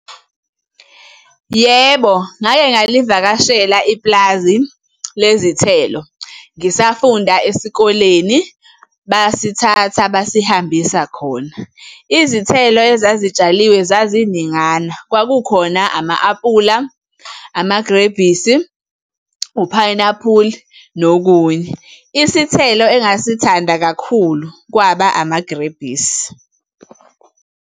Yebo, ngake ngalivakashela ipulazi lezithelo, ngisafunda esikoleni basithatha basihambisa khona. Izithelo ezazitshaliwe zaziningana, kwakukhona ama-apula, amagrebhisi, uphayinaphuli, nokunye. Isithelo engasithanda kakhulu kwaba amagrebhisi.